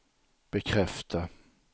bekräfta